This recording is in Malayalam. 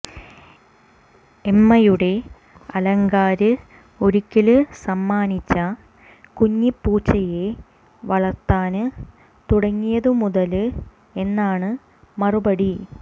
എമ്മയുടെ അയല്ക്കാര് ഒരിക്കല് സമ്മാനിച്ച കുഞ്ഞിപ്പൂച്ചയെ വളര്ത്താന് തുടങ്ങിയതുമുതല് എന്നാണ് മറുപടി